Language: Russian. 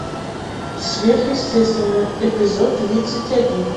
сверхъестественное эпизод тридцать один